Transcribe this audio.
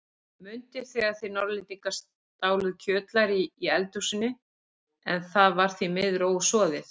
Mundu þegar þið Norðlendingar stáluð kjötlæri í eldhúsinu, en það var því miður ósoðið.